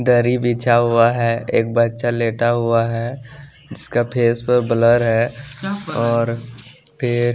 दरी बिछा हुआ है एक बच्चा लेटा हुआ है जिसका फेस पर ब्लर है और पेर --